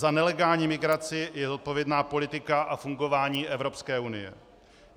Za nelegální migraci je zodpovědná politika a fungování Evropské unie.